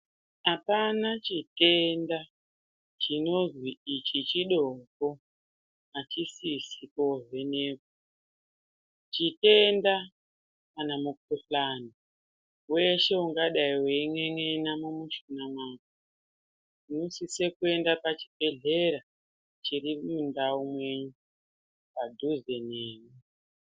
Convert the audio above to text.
Apana chitenda chinonzi ichi chidoko achisisi kovhenekwa chitenda kana mukuhlani weshe ungadai wein'en'ena mumushuna mako unosise kuenda pachibhedhlera chiri mundau menyu padhuze nemi.